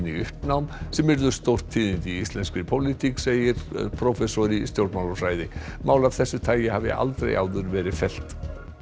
í uppnám sem yrðu stórtíðindi í íslenskri pólitík segir prófessor í stjórnmálafræði mál af þessu tagi hafi aldrei áður verið fellt